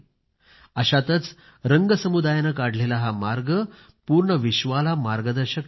अशातच रंग समुदायाने काढलेला हा मार्ग पूर्ण विश्वाला मार्गदर्शक ठरला आहे